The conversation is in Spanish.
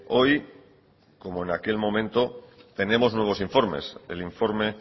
hoy como en aquel momento tenemos nuevos informes el informe